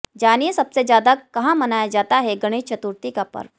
जानिये सबसे ज्यादा कहा मनाया जाता है गणेश चतुर्थी का पर्व